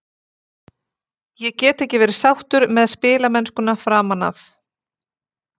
Ég get ekki verið sáttur með spilamennskuna framan af.